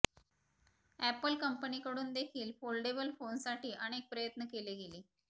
Apple कंपनीकडून देखील foldable फोनसाठी अनेक प्रयत्न केले गेले